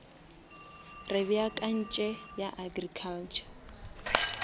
re beakantše ya agriculture